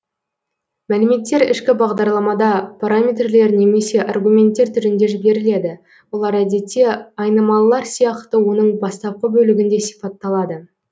мәліметтер ішкі бағдарламада параметрлер немесе аргументтер түрінде жіберіледі олар әдетте айнымалылар сияқты оның бастапқы бөлігінде сипатталады